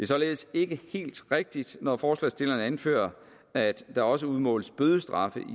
således ikke helt rigtigt når forslagsstillerne anfører at der også udmåles bødestraffe